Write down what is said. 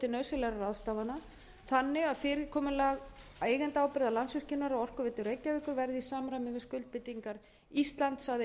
til nauðsynlegra ráðstafana þannig að fyrirkomulag eigendaábyrgða landsvirkjunar og orkuveitu reykjavíkur verði í samræmi við skuldbindingar íslands að e e